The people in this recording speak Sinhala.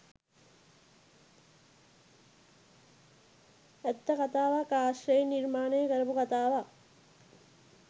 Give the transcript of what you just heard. ඇත්ත කතාවක් ආශ්‍රයෙන් නිර්මාණය කරපු කතාවක්